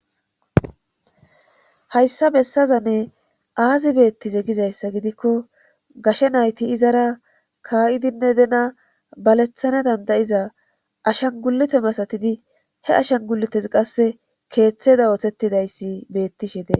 Hayssa bessazani aazi beettize gizayssa gidikko gashe nayti izara kaa7idinne bena baleththane danda7iza ashan gulute masatidi he ashanguletes qassi keeththeda oosettidayssi beettishe de.